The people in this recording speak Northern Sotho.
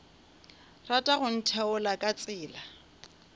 rata go ntheola ka tsela